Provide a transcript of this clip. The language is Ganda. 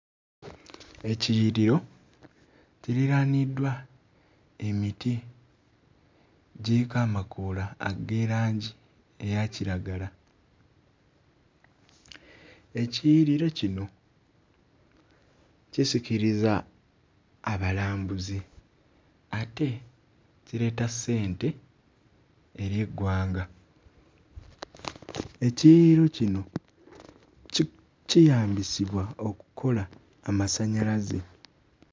Ekiyiriro kiriraaniddwa emiti giriko amakoola ag'erangi eya kiragala. Ekiyiriro kino kisikiriza abakambuzi ate kireeta ssente eri eggwanga. Ekiyiriro kino ki kiyambisibwa okukola amasannyalaze.